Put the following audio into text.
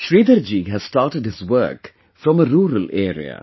Shridhar ji has started his work from a rural area